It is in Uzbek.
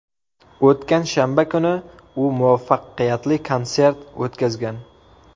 O‘tgan shanba kuni u muvaffaqiyatli konsert o‘tkazgan.